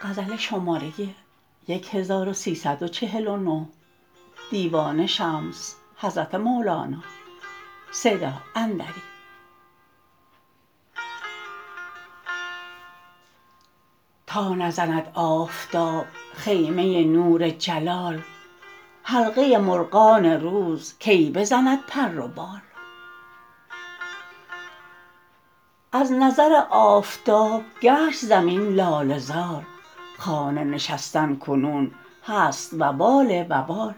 تا نزند آفتاب خیمه نور جلال حلقه مرغان روز کی بزند پر و بال از نظر آفتاب گشت زمین لاله زار خانه نشستن کنون هست وبال وبال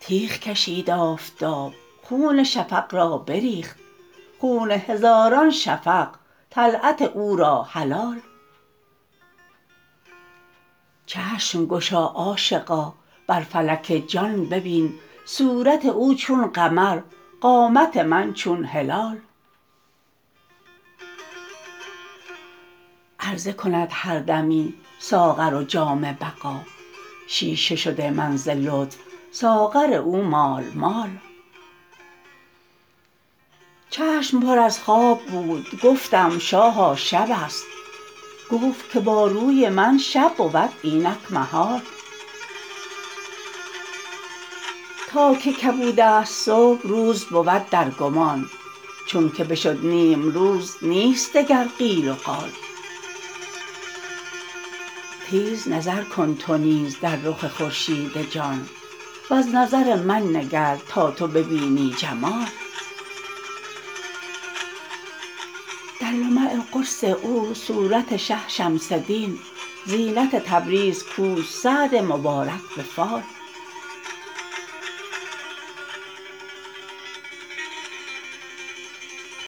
تیغ کشید آفتاب خون شفق را بریخت خون هزاران شفق طلعت او را حلال چشم گشا عاشقا بر فلک جان ببین صورت او چون قمر قامت من چون هلال عرضه کند هر دمی ساغر جام بقا شیشه شده من ز لطف ساغر او مال مال چشم پر از خواب بود گفتم شاها شبست گفت که با روی من شب بود اینک محال تا که کبود است صبح روز بود در گمان چونک بشد نیم روز نیست دگر قیل و قال تیز نظر کن تو نیز در رخ خورشید جان وز نظر من نگر تا تو ببینی جمال در لمع قرص او صورت شه شمس دین زینت تبریز کوست سعد مبارک به فال